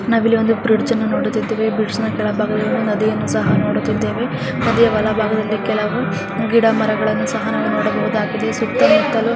ನಾವಿಲ್ಲಿ ಒಂದು ಬ್ರಿಡ್ಜ್ ನ್ನು ನೋಡುತ್ತಾ ಇದ್ದೇವೆ ಬ್ರಿಡ್ಜ್ ನ ಕೆಳಭಾಗದಲ್ಲಿ ನದಿಯನ್ನು ಸಹ ನೋಡುತ್ತಿದ್ದೇವೆ ನದಿಯ ಬಲಭಾಗದಲ್ಲಿ ಕೆಲವು ಗಿಡಮರಗಳನ್ನು ಸಹ ನಾವು ನೋಡಬಹುದಾಗಿದೆ ಸುತ್ತುಮುತ್ತಲೂ.--